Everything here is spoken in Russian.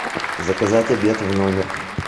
заказать обед в номер